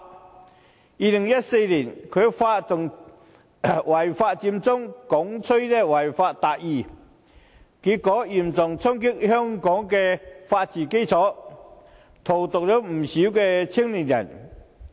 在2014年，他發動違法佔中，鼓吹"違法達義"，結果嚴重衝擊香港的法治基礎，荼毒了不少青年人。